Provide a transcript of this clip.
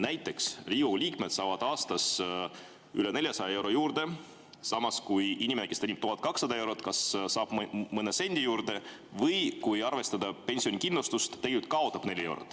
Näiteks Riigikogu liikmed saavad aastas üle 400 euro juurde, samas kui inimene, kes teenib 1200 eurot, saab kas mõne sendi juurde või kui arvestada pensionikindlustust, tegelikult kaotab 4 eurot.